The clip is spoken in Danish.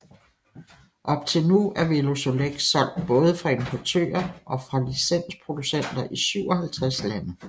Op til nu er Velosolex solgt både fra importører og fra licensproducenter i 57 lande